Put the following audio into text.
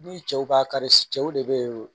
Ni cɛw b'a kari cɛw de be ye